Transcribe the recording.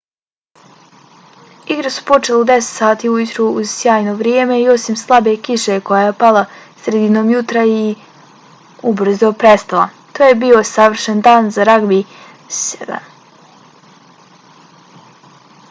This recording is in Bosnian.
igre su počele u 10:00 sati ujutru uz sjajno vrijeme i osim slabe kiše koja je pala sredinom jutra i ubrzo prestala to je bio savršen dan za ragbi 7